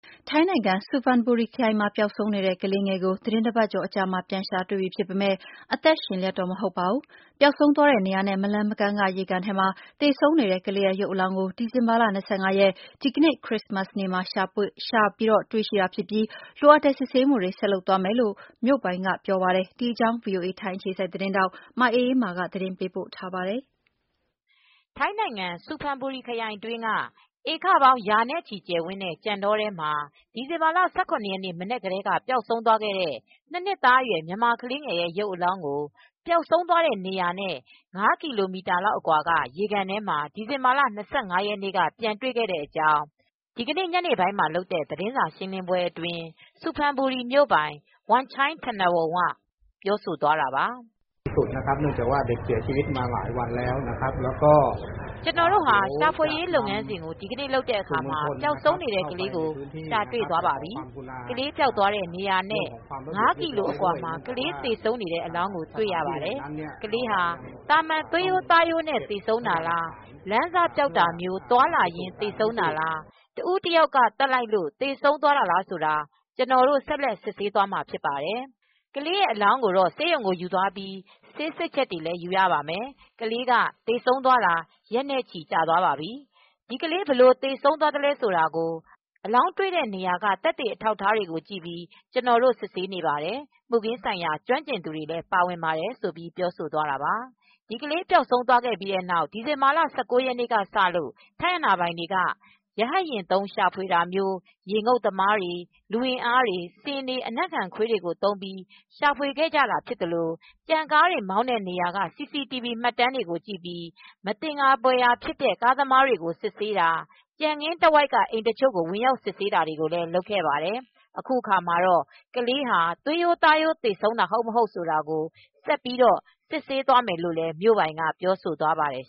ထိုင်းနိုင်ငံ ဆူဖန်ဘူရီခရိုင်မှာ ပျောက်ဆုံးနေတဲ့ ကလေးငယ်ကို သီတင်းတပတ်ကျော်အကြာမှာ ပြန်တွေ့ပြီဖြစ်ပေမယ့် အသက် ရှင်လျက်တော့ မဟုတ်တော့ပါဘူး။ ပျောက်ဆုံးသွားတဲ့နေရာနဲ့ မလှမ်းမကမ်းက ရေကန်ထဲမှာ သေဆုံးနေတဲ့ ကလေးရဲ့ ရုပ် အလောင်းကို ဒီဇင်ဘာလ ၂၅ ရက် ခရစ္စမတ်နေ့မှာ ရှာဖွေတွေ့ရှိတာဖြစ်ပြီး လိုအပ်တဲ့စစ်ဆေးမှုတွေ ဆက်လုပ်သွားမယ်လို့ ဆူဖန်ဘူရီမြို့ပိုင်ကပြောပါတယ်။ ဒီအကြောင်း ဗွီအိုအေ ထိုင်းအခြေစိုက်သတင်းထောက် မအေးအေးမာက သတင်းပေးပို့ထားပါတယ်။ ထိုင်းနိုင်ငံ ဆူဖန်ဘူရီခရိုင် အတွင်းက ဧကပေါင်းရာနဲ့ချီ ကျယ်ဝန်းတဲ့ ကြံတောထဲမှာ ဒီဇင်ဘာလ ၁၇ ရက်မနက်ကတဲက ပျောက်ဆုံးသွားခဲတဲ့ နှစ်နှစ်သားအရွယ် မြန်မာကလေးငယ်ရဲ့ ရုပ်အလောင်းကို သူပျောက်ဆုံးသွားတဲ့နေရာနဲ့ ၅ ကီလိုမီတာ လောက်အကွာက ရေကန်ထဲမှာ ဒီဇင်ဘာလ ၂၅ ရက်နေ့က ပြန်တွေ့တဲ့အကြောင်း အဲဒီနေ့ညနေပိုင်းမှာလုပ်တဲ့ သတင်းစာ ရှင်းလင်းပွဲအတွင်း ဆူဖန်ဘူရီမြိုပိုင် ဝမ်ချိုင်းထနဝုန်က ပြောသွားတာပါ။ “ကျနော်တို့ ရှာဖွေလုပ်ငန်းစဉ်ကို ဒီနေ့လုပ်တဲ့အခါမှာ ပျောက်ဆုံးနေတဲ့ ကလေးကို ရှာေတွေ့သွားပါပြီ။ ကလေးပျောက်တဲ့ နေရာနဲ့ ငါးကီလိုအကွာမှာ ကလေးသေဆုံးနေတဲ့အလောင်းကိုတွေ့ရပါတယ် ။ ကလေးဟာ သာမန်သွေးရိုးသားရိုးနဲ့ သေဆုံးတာလား ၊လမ်းစပျောက်တာမျိုး သွားလာရင်သေဆုံးတာလား၊ တဦးတယောက်ကသတ်လိုက်လို့သေဆုံးတာလားဆိုတာ ကျနော်တို့ ဆက်လက်စစ်ဆေးမှာဖြစ်ပါတယ်။ ကလေးရဲ့ အလောင်းကို ဆေးရုံကိုယူသွားပြီး ဆေးစစ်ချက်တွေယူရပါမယ်။ ကလေးက သေဆုံးသွားတာရက်နဲ့ချီကြာသွားပါပြီ ။ ဒီကလေး ဘယ်လိုသေဆုံးသွားသလဲဆိုတာကိုအလောင်းတွေတဲ့ နေရာကသက်သေအထောက်အထားတွေကို ကြည့်ပြီး ကျနော်တို့စစ်ဆေးနေပါတယ်။ မူခင်းဆိုင်ရာ ကျွမ်းကျင်သူတွေလည်း ပါဝင်ပါတယ်။” ဒီကလေးပျောက်ဆုံးသွားပြီးတဲ့နောက် ဒီဇင်ဘာလ ၁၉ ရက်နေ့ကစလို့ထိုင်းအာဏာပိုင်တွေက ရဟတ်ယာဉ်သုံး ရှာဖွေသလို ရေငုတ်သမားတွေ၊ လူအင်အားတွေ၊ ဆင်တွေ၊ အနံ့ခံ ခွေးတွေကိုသုံးပြီး ရှာဖွေခဲ့တာ ဖြစ်သလို ကြံကားတွေမောင်းတဲ့နေရာက စီစီတီဗွီမှတ်တမ်းတွေကိုကြည့်ပြီး မသင်္ကာဖွယ်ရာဖြစ်တဲ့ ကားသမားတွေကို စစ်ဆေးတာ၊ ကြံခင်းတဝိုက်က အိမ်တချို့ကို ဝင်ရောက်စစ်ဆေးတာတွေ လုပ်ခဲ့ပါတယ်။ အခုအခါမှာတော့ ကလေးဟာ သွေးရိုးသားရိုးသေဆုံးတာ ဟုတ်မဟုတ် ဆိုတာကို ဆက်ပြီး စစ်ဆေးသွားမယ်လို့ မြို့ပိုင်က ပြောဆိုသွားပါတယ်